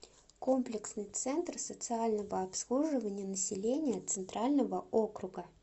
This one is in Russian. комплексный центр социального обслуживания населения центрального округа